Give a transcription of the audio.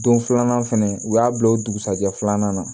Don filanan fɛnɛ u y'a bila o dugusajɛ filanan na